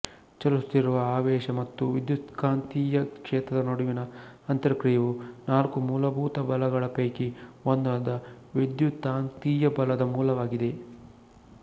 ಚಲಿಸುತ್ತಿರುವ ಆವೇಶ ಮತ್ತು ವಿದ್ಯುತ್ಕಾಂತೀಯ ಕ್ಷೇತ್ರದ ನಡುವಿನ ಅಂತರಕ್ರಿಯೆಯು ನಾಲ್ಕು ಮೂಲಭೂತ ಬಲಗಳ ಪೈಕಿ ಒಂದಾದ ವಿದ್ಯುತ್ಕಾಂತೀಯ ಬಲದ ಮೂಲವಾಗಿದೆ